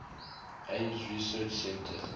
ames research center